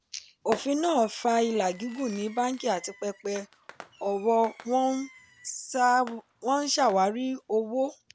ofin náà fa ìlà gígùn ní bánkì àti pẹpẹ owo wọ́n ń ṣàwárí owó.